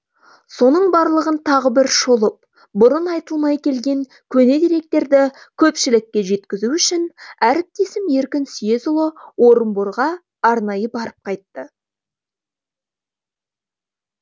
соның барлығын тағы бір шолып бұрын айтылмай келген көне деректерді көпшілікке жеткізу үшін әріптесім еркін съезұлы орынборға арнайы барып қайтты